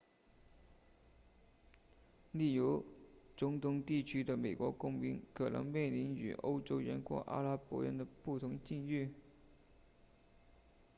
例如中东地区的美国公民可能面临与欧洲人或阿拉伯人的不同境遇